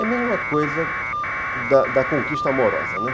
É a mesma coisa da da conquista amorosa, né?